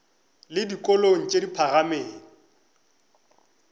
le dikolong tše di phagamego